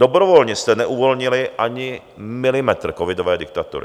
Dobrovolně jste neuvolnili ani milimetr covidové diktatury.